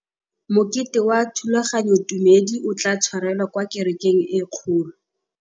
Mokete wa thulaganyôtumêdi o tla tshwarelwa kwa kerekeng e kgolo.